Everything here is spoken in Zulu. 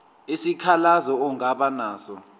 isikhalazo ongaba naso